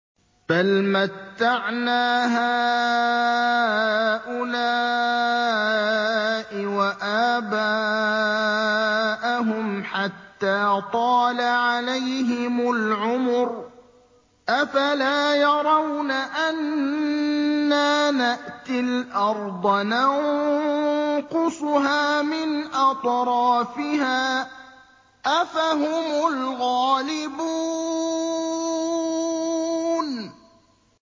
بَلْ مَتَّعْنَا هَٰؤُلَاءِ وَآبَاءَهُمْ حَتَّىٰ طَالَ عَلَيْهِمُ الْعُمُرُ ۗ أَفَلَا يَرَوْنَ أَنَّا نَأْتِي الْأَرْضَ نَنقُصُهَا مِنْ أَطْرَافِهَا ۚ أَفَهُمُ الْغَالِبُونَ